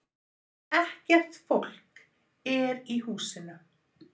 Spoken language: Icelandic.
Ekkert fólk er í húsinu